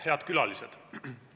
Head külalised!